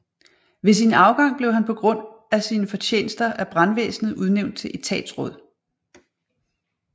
Ved sin afgang blev han på grund af sine fortjenester af brandvæsenet udnævnt til etatsråd